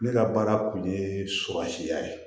Ne ka baara kun ye surasiya ye